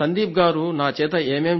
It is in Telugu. నా చేత ఏమేం చేయిస్తారు